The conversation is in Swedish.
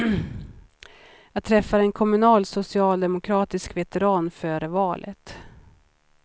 Jag träffade en kommunal socialdemokratisk veteran före valet.